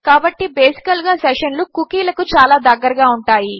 కాబట్టి basically session లు కూకీలకు చాలా దగ్గరగా ఉంటాయి